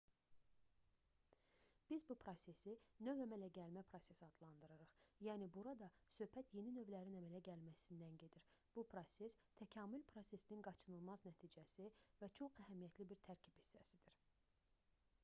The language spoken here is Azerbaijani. biz bu prosesi növ əmələ gəlmə prosesi adlandırırıq yəni burada söhbət yeni növlərin əmələ gəlməsindən gedir bu proses təkamül prosesinin qaçınılmaz nəticəsi və çox əhəmiyyətli bir tərkib hissəsidir